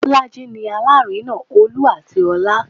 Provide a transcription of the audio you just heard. Bolaji ni Alárinà Olú àti ọlá